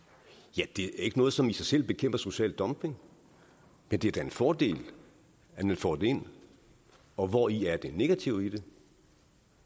ja det er ikke noget som i sig selv bekæmper social dumping men det er da en fordel at man får det ind og hvori er det negative i det